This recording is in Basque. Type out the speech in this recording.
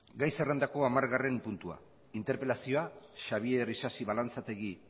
gai zerrendako hamargarren puntua interpelazioa xabier isasi balanzategi